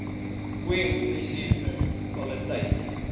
khoi munisi paliteit